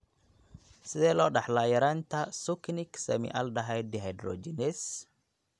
Sidee loo dhaxlaa yaraanta succinic semialdehyde dehydrogenase?